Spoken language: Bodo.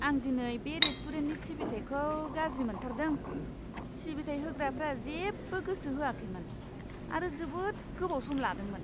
आं दिनै बे रेस्टुरेन्टनि सिबिथाइखौ गाज्रि मोनथारदों! सिबिथाय होग्राफोरा जेबो गोसो होआखैमोन आरो जोबोद गोबाव सम लादोंमोन!